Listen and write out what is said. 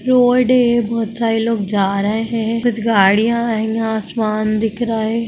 Road है बोहोत सारे लोग जा रहे है कुछ गाड़िया है। यहाँ आसमान दिख रहा है।